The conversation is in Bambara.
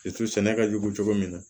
sɛnɛ ka jugu cogo min na